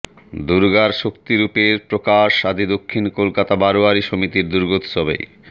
দুর্গার শক্তিরূপের প্রকাশ আদি দক্ষিণ কলকাতা বারোয়ারি সমিতির দুর্গোৎসবে